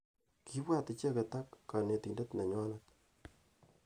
Kibwa icheket ak kanitendet nenywanet.